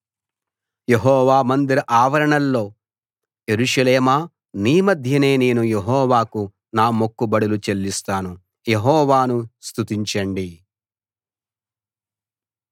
యెహోవా మందిర ఆవరణాల్లో యెరూషలేమా నీ మధ్యనే నేను యెహోవాకు నా మొక్కుబడులు చెల్లిస్తాను యెహోవాను స్తుతించండి